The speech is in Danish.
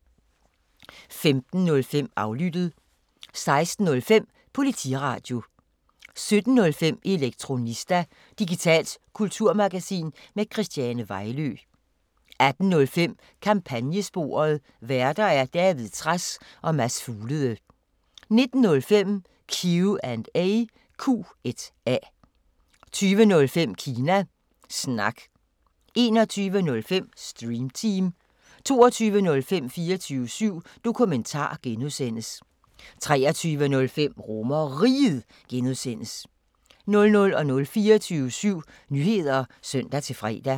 15:05: Aflyttet 16:05: Politiradio 17:05: Elektronista – digitalt kulturmagasin med Christiane Vejlø 18:05: Kampagnesporet: Værter: David Trads og Mads Fuglede 19:05: Q&A 20:05: Kina Snak 21:05: Stream Team 22:05: 24syv Dokumentar (G) 23:05: RomerRiget (G) 00:00: 24syv Nyheder (søn-fre)